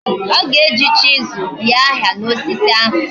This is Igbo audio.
Oga eji chisel bie aha ya na osisi ahu